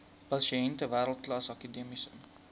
pasiënte wêreldklas akademiese